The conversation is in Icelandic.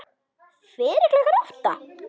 Fyrir klukkan átta?